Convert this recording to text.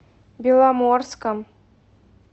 беломорском